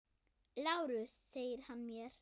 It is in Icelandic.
LÁRUS: Segir hann mér!